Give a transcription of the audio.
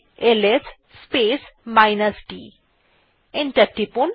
enter টিপুন